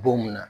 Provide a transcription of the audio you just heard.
Don mun na